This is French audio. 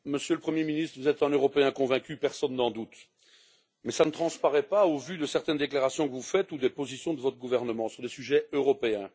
Monsieur le Premier ministre, vous êtes un européen convaincu, personne n'en doute, mais cela ne transparaît pas au vu de certaines déclarations que vous faites ou des positions de votre gouvernement sur des sujets européens.